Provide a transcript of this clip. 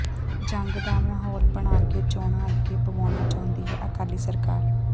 ਜੰਗ ਦਾ ਮਾਹੌਲ ਬਣਾ ਕੇ ਚੋਣਾਂ ਅੱਗੇ ਪਵਾਉਣਾ ਚਾਹੁੰਦੀ ਹੈ ਅਕਾਲੀ ਸਰਕਾਰ